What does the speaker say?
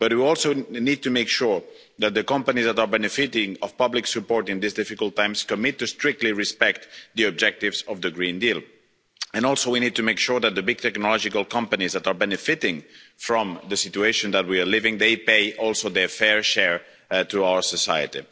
But we also need to make sure that the companies that are benefiting from public support in these difficult times commit to strictly respect the objectives of the Green Deal, and also we need to make sure that the big technological companies that are benefiting from the situation that we are living through pay also their fair share to our society.